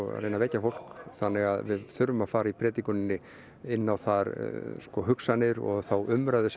að reyna að vekja fólk þannig að við þurfum að fara í predikuninni inn á þær hugsanir og umræðu sem